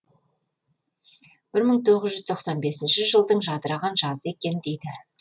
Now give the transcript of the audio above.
бір мың тоғыз жүз тоқсан бесінші жылдың жадыраған жазы екен дейді